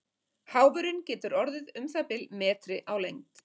Háfurinn getur orðið um það bil metri á lengd.